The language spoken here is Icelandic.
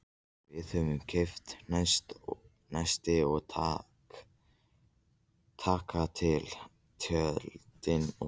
Við þurfum að kaupa nesti og taka til tjöldin og.